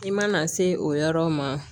I mana se o yɔrɔ ma